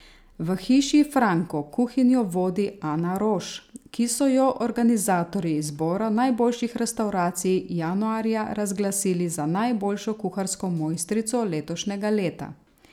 V Hiši Franko kuhinjo vodi Ana Roš, ki so jo organizatorji izbora najboljših restavracij januarja razglasili za najboljšo kuharsko mojstrico letošnjega leta.